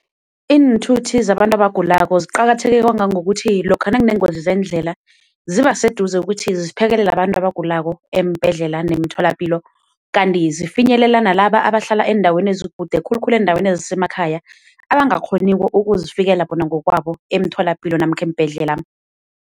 Iinthuthi zabantu abagulako ziqakatheke kwangangokuthi lokha nakunengozi zeendlela ziba seduze ukuthi ziphekelele abantu abagulako eembhedlela nemitholapilo. Kanti zifinyelela nalaba abahlala eendaweni ezikude khulukhulu eendaweni ezisemakhaya abangakghoniko ukuzifikela bona ngokwabo emtholapilo namkha eembhedlela.